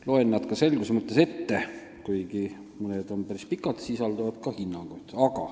Loen nad selguse mõttes ette, kuigi mõni on päris pikk ja sisaldab ka hinnangut.